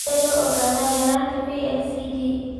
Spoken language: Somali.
Sidee loo ogaadaa yaraanta VLCAD?